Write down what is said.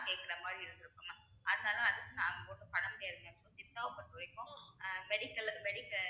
கேட்கிற மாதிரி இருந்திருக்கும் mam அதனால அதுக்கு நாங்க ஒண்ணும் பண்ணமுடியாதுங்க சித்தாவ பொறுத்தவரைக்கும் ஆஹ் medical லு medic~